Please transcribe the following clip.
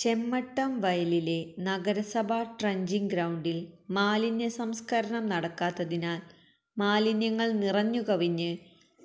ചെമ്മട്ടം വയലിലെ നഗരസഭാ ട്രഞ്ചിംങ്ങ് ഗ്രൌണ്ടില് മാലിന്യസംസ്ക്കരണം നടക്കാത്തതിനാല് മാലിന്യങ്ങള് നിറഞ്ഞു കവിഞ്ഞ്